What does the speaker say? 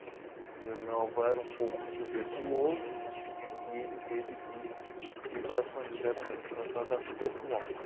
E o meu avô era um pouco tuberculoso e ele teve que ir para São José para se tratar da tuberculose.